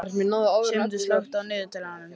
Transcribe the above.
Sigmundur, slökktu á niðurteljaranum.